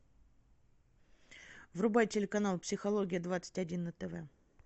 врубай телеканал психология двадцать один на тв